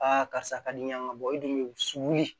karisa ka di yan ka bɔ e dun be wusuli